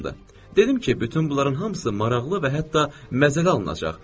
Dedim ki, bütün bunların hamısı maraqlı və hətta məzəli alınacaq.